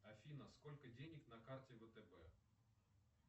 афина сколько денег на карте втб